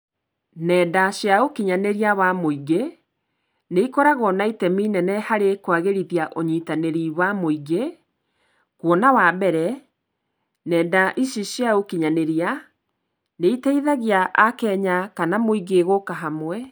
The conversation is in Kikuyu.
Ng'enda cia ũkinyanĩria wa mũingĩ nĩikoragwo na itemi inene harĩ kwagĩrithia ũnyitanĩri wa mũingĩ kwona wa mbere ng'enda ici cia ũkinyanĩria nĩ ĩteithagia Akenya kana mũingĩ gũka hamwe.